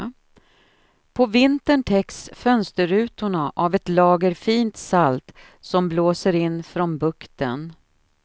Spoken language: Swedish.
På vintern täcks fönsterrutorna av ett lager fint salt som blåser in från bukten.